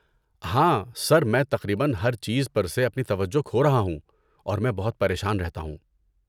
ہاں، سر، میں تقریبا ہر چیز پر سے اپنی توجہ کھو رہا ہوں، اور میں بہت پریشان رہتا ہوں۔